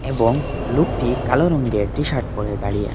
এবং লোকটি কালো রঙের টিশার্ট পরে দাঁড়িয়ে আছে।